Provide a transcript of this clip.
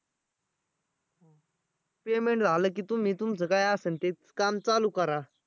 payment झालं की तुम्ही तुमचं काय असन ते काम चालू करा.